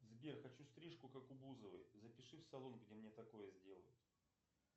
сбер хочу стрижку как у бузовой запиши в салон где мне такое сделают